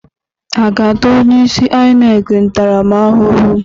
A ga-ata onye isi oche INEC ntaramahụhụ?